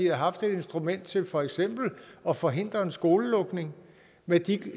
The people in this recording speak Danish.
haft et instrument til for eksempel at forhindre en skolelukning med de